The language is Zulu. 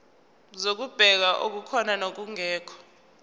zokubheka okukhona nokungekho